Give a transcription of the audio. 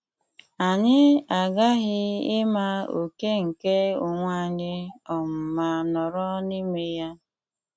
Anyị aghaghị ịma oke nke onwe anyị um ma nọrọ n'ime ya.